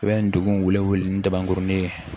I bɛ ndugu wele wele ni daburunin ye